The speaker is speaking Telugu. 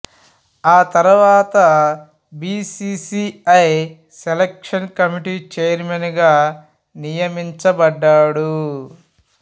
ఆ తర్వాత B C C I selection committee chairman గా నియమించబడ్డాడు